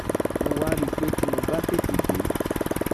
mo wá rí i pé tí mo bá tètè dé